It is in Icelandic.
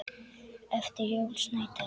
eftir Jón Snædal